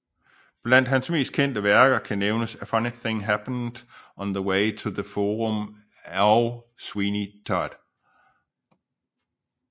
Blandt hans mest kendte værker kan nævnes A Funny Thing Happened on the Way to the Forum og Sweeney Todd